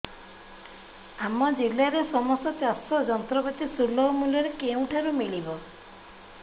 ଆମ ଜିଲ୍ଲାରେ ସମସ୍ତ ଚାଷ ଯନ୍ତ୍ରପାତି ସୁଲଭ ମୁଲ୍ଯରେ କେଉଁଠାରୁ ମିଳିବ